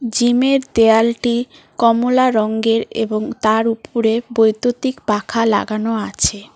জিমের দেওয়ালটি কমলা রঙ্গের এবং তার উপরে বৈদ্যুতিক পাখা লাগানো আছে।